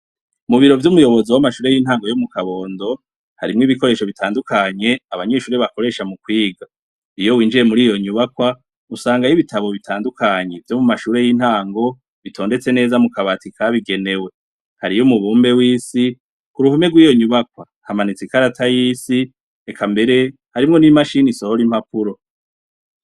Mubiro vyumuyobozi wamashure yintango yomu kabondo harimwo ibikoresho bitandukanye abanyeshure bakoresha mukwiga iyo winjiye muriyo nyubakwa usanga ibitabo bitandukanye vyomumashure yintango bitondetse neza mukabati kabigenewe hariyo umubumbe wisi kuruhome yiyo nyubakwa hamanitse ikarata yisi eka mbere harimwo nimashini isohora impapuro